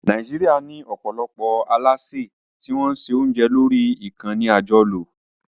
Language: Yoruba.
Nàìjíríà ní ọ̀pọ̀lọpọ̀ alásè tí wọ́n ń se oúnjẹ lórí ìkànnì àjọlò